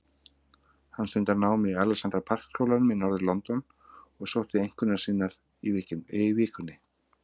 Hann stundar nám í Alexandra Park skólanum í norður-London og sótti einkunnir sínar í vikunni.